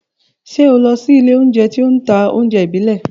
Ṣé o lọ sí ilé-oúnjẹ tí ó ń ta oúnjẹ ìbílẹ̀?